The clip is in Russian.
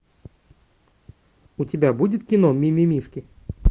у тебя будет кино мимимишки